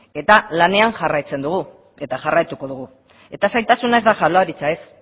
eta lanean jarraitzen dugu eta jarraituko dugu eta zailtasuna ez da jaurlaritza ez